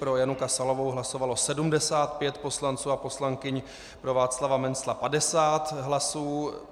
Pro Janu Kasalovou hlasovalo 75 poslanců a poslankyň, pro Václava Mencla 50 hlasů.